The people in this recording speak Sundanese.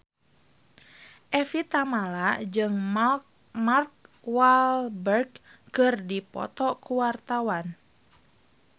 Evie Tamala jeung Mark Walberg keur dipoto ku wartawan